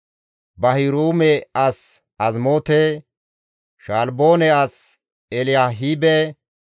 Bahiruume as Azimoote, Shaalboone as Eliyaahibe,